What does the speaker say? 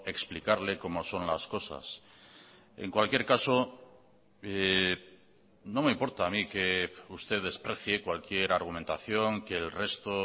explicarle cómo son las cosas en cualquier caso no me importa a mí que usted desprecie cualquier argumentación que el resto